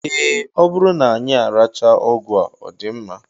Ee, ọ bụrụ na anyị arachaa ọgwụ a, ọ dị mma